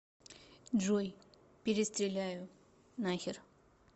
джой перестреляю нахер